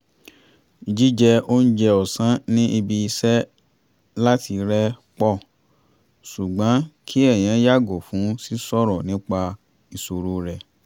jíjẹ oúnjẹ ọ̀sán ní ibi-iṣẹ́ láti rẹ́ pọ̀ ṣùgbọ́n kí èèyàn yààgò fún sí sọ̀rọ̀ nípa ìṣòro rẹ̀